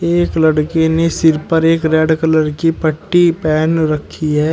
एक लड़की ने सिर पर एक रेड कलर की पट्टी पेहन रखी है।